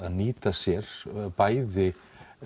að nýta sér bæði